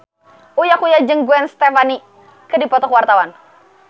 Uya Kuya jeung Gwen Stefani keur dipoto ku wartawan